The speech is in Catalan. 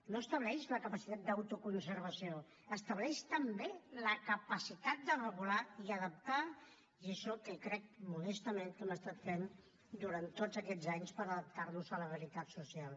no estableix la capacitat d’autoconservació estableix també la capacitat de regular i adaptar i és això el que crec modestament que hem estat fent durant tots aquests anys per adaptarnos a la realitat social